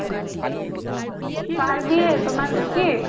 কার বিয়ে তোমার নাকি?